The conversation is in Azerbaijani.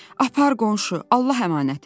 Apar qonşu, Allah əmanətim.